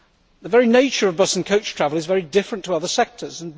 The very nature of bus and coach travel is very different to other sectors.